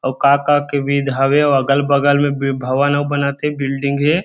और काका के बिद हावे अऊ अगल-बगल में भवन अऊ बनत हे बिल्डिंग हे।